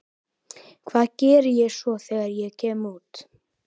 Hvað geri ég svo þegar ég kem út?